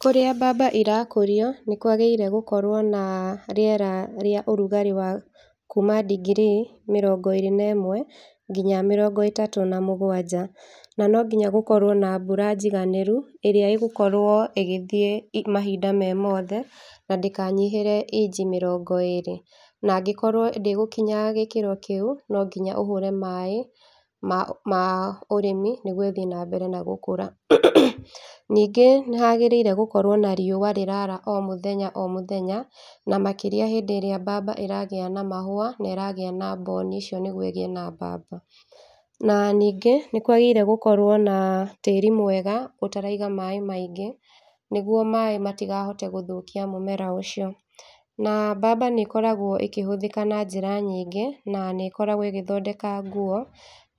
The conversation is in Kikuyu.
Kũrĩa mbamba irakũrĩo nĩ kwagĩrĩirwo gũkorwo na rĩera rĩa ũrugarĩ wa kuma ndigiri mĩrongo ĩrĩ na ĩmwe ngina mĩrongo ĩtatũ na mũgwanja. Na no nginya gũkorwo na mbura njiganĩru ĩrĩa ĩgũkorwo ĩgĩthĩe mahinda me mothe na ndĩkanyihĩre inji mĩrongo ĩrĩ. Na angĩkorwo ndĩgũkinya gĩkĩro kĩu, no nginya ũhũre maĩ ma ũrĩmi nĩgũo ĩthĩe na mbere na gũkũra. Ningĩ nĩ hagĩrĩirwo gũkorwo na riũa rĩra ara o mũthenya o mũthenya na makĩria rĩrĩa mbamba ĩragĩa na mahũa na ĩragĩa na mboni icio nĩgũo ĩgĩe na mbamba na ningĩ nĩkwagĩrĩirwo gũkorwo na tĩri mwega ũtaraiga maĩ maingĩ nĩgũo maĩ matikahote gũthũkia mũmera ũcio, na mbamba nĩ ĩkoragwo ikĩhũthĩka na jĩra nyingĩ na nĩĩkoragwo ĩgĩthondeka nguo